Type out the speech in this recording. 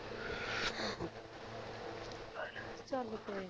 ਆਜਾ ਚਲ ਕੋਈ ਨਹੀ